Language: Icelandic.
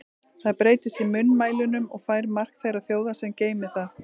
Það breytist í munnmælunum og fær mark þeirrar þjóðar, sem geymir það.